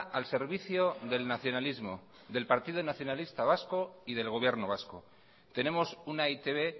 al servicio del nacionalismo del partido nacionalista vasco y del gobierno vasco tenemos una e i te be